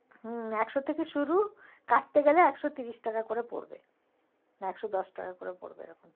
হম একশো থেকে শুরু কাচতে গেলে একশো তিরিশ টাকা করে পরবে না একশো দশ টাকা করে পরবে যেন